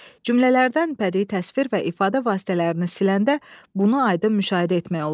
Cümlələrdən bədii təsvir və ifadə vasitələrini siləndə bunu aydın müşahidə etmək olur.